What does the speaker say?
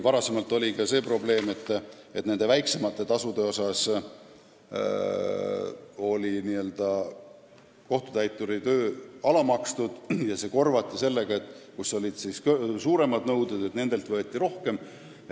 Varem oli ka see probleem, et väiksemate nõuete puhul oli kohtutäituri töö alamakstud ja see korvati sellega, et suuremate nõuete korral võeti võlgnikult rohkem.